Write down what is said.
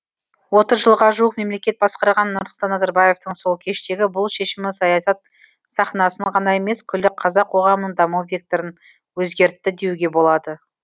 отыз жылға жуық мемлекет басқарған нұрсұлтан назарбаевтың сол кештегі бұл шешімі саясат сахнасын ғана емес күллі қазақ қоғамының даму векторын өзгертті деуге болады